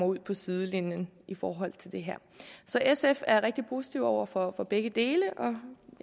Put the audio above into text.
ud på sidelinjen i forhold til det her så sf er rigtig positiv over for for begge dele og jeg